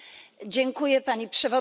Pani Przewodnicząca!